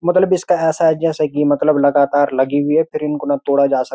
मतलब इसका ऐसा है जैसा की मतलब लगातार लगी हुई है फिर इनको न तोड़ा जा सक --